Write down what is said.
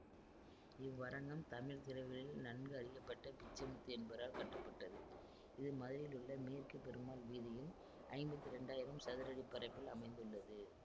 இவ்வரங்கம் தமிழ் திரையுலகில் நன்கறியப்பட்ட பிச்சைமுத்து என்பவரால் கட்டப்பட்டது இது மதுரையிலுள்ள மேற்கு பெருமாள் வீதியில் ஐம்பத்தி இரண்டாயிரம் சதுரடி பரப்பில் அமைந்துள்ளது